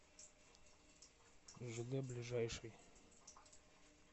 жд ближайший